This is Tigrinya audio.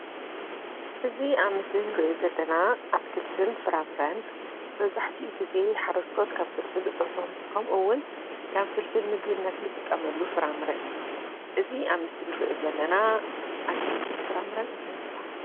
እዚ ኣብ ምስሊ ንሪኦ ዘለና ኣትክልትን ፍራምረን መብዛሕቲኡ ግዜ ሓረስቶስ ካብ ፍልፍል እቶቶም ከምኡውን ከም ፍልፍል ምግብነት እንጥቀመሉ ፍራምረ እዩ። እዚ ኣብ ምስሊ ንሪኦ ዘለና ኣትክልትን ፍራ ምረን እንታይ ይበሃል?